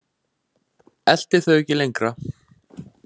Elti þau ekki lengra.